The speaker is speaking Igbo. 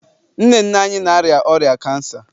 nne nne anyị na-arịa ọrịa kansa